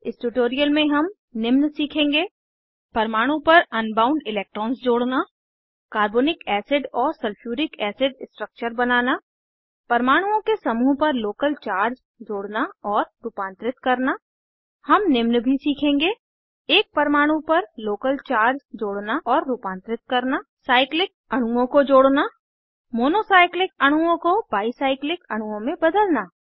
इस ट्यूटोरियल में हम निम्न सीखेंगे परमाणु पर अनबाउंड इलेक्ट्रॉन्स जोड़ना कार्बोनिक एसिड और सल्फूरिक एसिड स्ट्रक्चर बनाना परमाणुओं के समूह पर लोकल चार्ज जोड़ना और रूपांतरित करना हम निम्न भी सीखेंगे एक परमाणु पर लोकल चार्ज जोड़ना और रूपांतरित करना साइक्लिक अणुओं को जोड़ना मोनो साइक्लिक अणुओं को बाई साइक्लिक अणुओं में बदलना